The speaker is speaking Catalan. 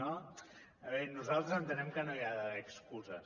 no nosaltres entenem que no hi ha d’haver excuses